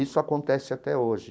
Isso acontece até hoje.